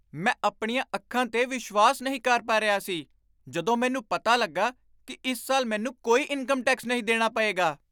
ਮੈਂ ਆਪਣੀਆਂ ਅੱਖਾਂ 'ਤੇ ਵਿਸ਼ਵਾਸ ਨਹੀਂ ਕਰ ਪਾ ਰਿਹਾ ਸੀ!ਜਦੋਂ ਮੈਨੂੰ ਪਤਾ ਲੱਗਾ ਕਿ ਇਸ ਸਾਲ ਮੈਨੂੰ ਕੋਈ ਇਨਕਮ ਟੈਕਸ ਨਹੀਂ ਦੇਣਾ ਪਏਗਾ।